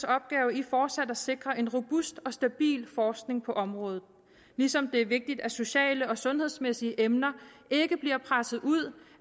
opgave i fortsat at sikre en robust og stabil forskning på området ligesom det er vigtigt at sociale og sundhedsmæssige emner ikke bliver presset ud